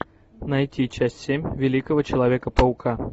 найти часть семь великого человека паука